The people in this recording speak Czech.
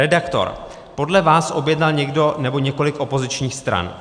Redaktor: Podle vás objednal někdo nebo několik opozičních stran.